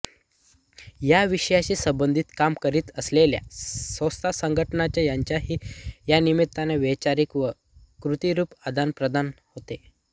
या विषयाशी संबंधित काम करीत असलेल्या संस्था संघटना यांचेही यानिमित्ताने वैचारिक व कृतीरूप आदानप्रदान होते